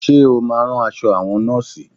Ṣe o máa rán aṣọ àwọn Nọ́ọ̀sì?